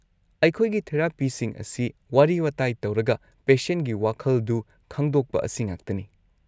ꯑꯩꯈꯣꯏꯒꯤ ꯊꯦꯔꯥꯄꯤꯁꯤꯡ ꯑꯁꯤ ꯋꯥꯔꯤ ꯋꯥꯇꯥꯏ ꯇꯧꯔꯒ ꯄꯦꯁꯦꯟꯒꯤ ꯋꯥꯈꯜꯗꯨ ꯈꯪꯗꯣꯛꯄ ꯑꯁꯤꯉꯥꯛꯇꯅꯤ꯫